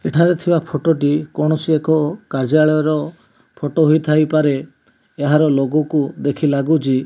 ଏଠାରେ ଥିବା ଫୋଟୋ ଟି କୌଣସି ଏକ କାର୍ଯ୍ୟାଳୟର ଫୋଟୋ ହେଇଥାଇ ପାରେ ଏହାର ଲୋଗୋ କୁ ଦେଖି ଲାଗୁଚି --